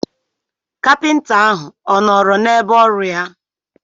Kapịnta ahụ ọ nọọrọ n'ebe ọrụ ya.